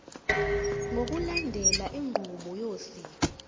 ngokulandela inqubo yosiko